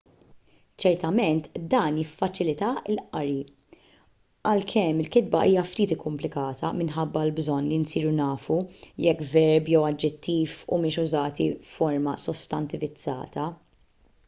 ċertament dan jiffaċilita l-qari għalkemm il-kitba hija ftit ikkumplikata minħabba l-bżonn li nsiru nafu jekk verb jew aġġettiv humiex użati f'forma sostantivizzata